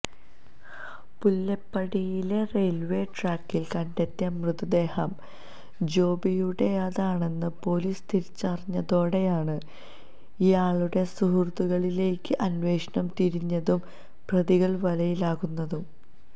പുല്ലേപ്പടിയിലെ railway ട്രാക്കില് കണ്ടെത്തിയ മൃതദേഹം ജോബിയുടേതാണെന്നു പോലീസ് തിരിച്ചറിഞ്ഞതോടെയാണ് ഇയാളുടെ സുഹൃത്തുക്കളിലേക്ക് അന്വേഷണം തിരിഞ്ഞതും പ്രതികള് വലയിലാകുന്നതും